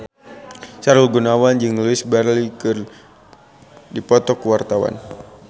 Sahrul Gunawan jeung Louise Brealey keur dipoto ku wartawan